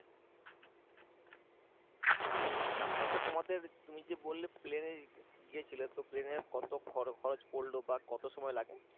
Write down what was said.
হ্যাঁ তারপর তোমাদের তুমি যে বললে প্লেনে গিয়েছিল তো প্লেনের কত খরচ পরলো বা কত সময় লাগে